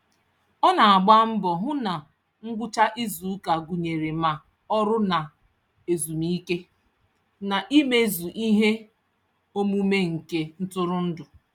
Ọ na-agba mbọ hụ na ngwụcha izuụka gụnyere ma ọrụ na ezumike, na imezu ihe omume nke ntụrụndụ.